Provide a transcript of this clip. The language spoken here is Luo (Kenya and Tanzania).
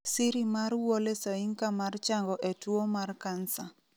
siri mar Wole Soyinka mar chango e tuwo mar kansa